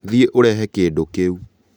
thiĩ ũrehe kĩdũ kĩu